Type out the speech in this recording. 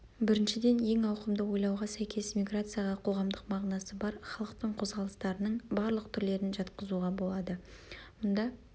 біріншіден ең ауқымды ойлауға сәйкес миграцияға қоғамдық мағынасы бар халықтың қозғалыстарының барлық түрлерін жатқызуға болады мұнда